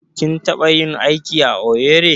Kin taɓa yin aiki a Owerri?